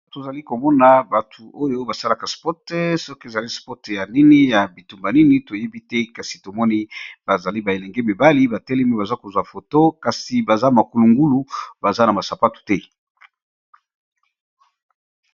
tozali komona batu oyo basalaka spote soki ezali spote ya nini ya bitumba nini toyebi te kasi tomoni bazali baelenge mibali batelemi baza kozwa foto kasi baza makulungulu baza na masapatu te